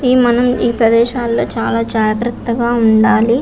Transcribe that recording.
ఈ మనం ఈ ప్రదేశములో చాలా జగతగా ఉండాలి.